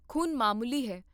ਖ਼ੂਨ ਮਾਮੂਲੀ ਹੈ